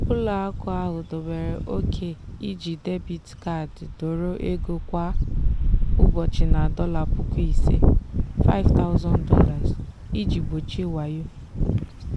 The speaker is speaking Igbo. ụlọakụ ahụ dobere ókè iji debiit kaadi dọrọ ego kwa ụbọchị na dollar puku ise ($5000) iji gbochie wayo.